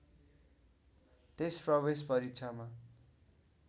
त्यस प्रवेश परीक्षामा